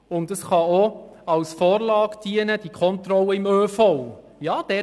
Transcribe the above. Die Kontrollen im ÖV können auch als Vorlage und Vorbild für solche erhöhten Anforderungen dienen.